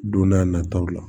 Don n'a nataw la